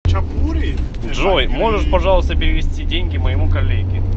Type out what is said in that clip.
джой можешь пожалуйста перевести деньги моему коллеге